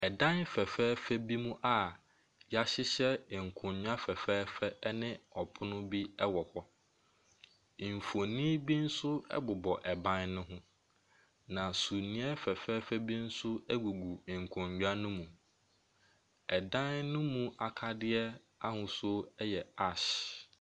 Ɛdan fɛfɛɛfɛ bi mu a wɔhyehyɛ nkonnwa fɛfɛɛfɛ ne ɛpono bo wɔ. Mfonin bi nso bobɔ dan no ho, na sumiiɛ fɛfɛɛfɛ bi nso gugu nkonnwa no mu. Ɛdan no mu akadeɛ yɛ ash.